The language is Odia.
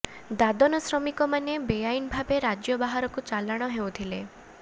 ଦାଦନ ଶ୍ରମିକ ମାନେ ବେଆଇନ ଭାବେ ରାଜ୍ୟ ବାହାରକୁ ଚାଲାଣ ହେଉଥିଲେ